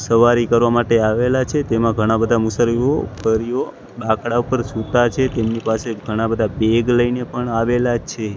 સવારી કરવા માટે આવેલા છે તેમા ઘણા બધા મુસારીઓફરીઓ બાકડા ઉપર સૂતા છે તેમની પાસે ઘણા બધા બેગ લઈને પણ આવેલા છે.